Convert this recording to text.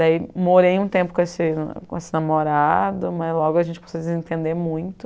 Daí morei um tempo com esse namorado, mas logo a gente começou a se desentender muito.